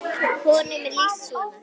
Honum er lýst svona